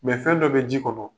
Mɛ fɛn dɔ bɛ ji kɔnɔ.